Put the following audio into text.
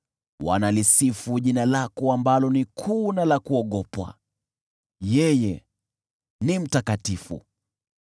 Wanalisifu jina lako ambalo ni kuu na la kuogopwa: yeye ni mtakatifu!